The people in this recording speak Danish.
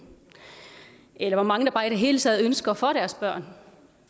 eller hvor mange der bare i det hele taget ønsker for deres børn